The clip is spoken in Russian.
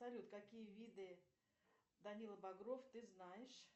салют какие виды данила багров ты знаешь